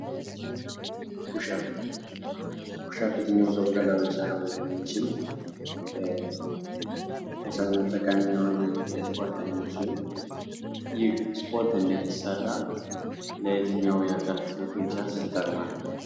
ፑሽ አፕ ፑሽ አፕ የትኛውም ሰው በቀላሉ ሊሠራው የሚችል የሰውነት ጠቃሚ የሆነ የስፖርት አይነት ሲሆን ይህ ስፖርት እንደት ይሰራል? ለየተኛው አካል ክፍል ጡንቻስ ይጠቅማል?